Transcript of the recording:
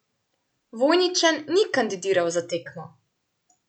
Vojničan ni kandidiral za tekmo.